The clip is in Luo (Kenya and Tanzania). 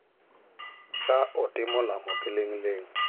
ka otimo lamo kiling’ling'.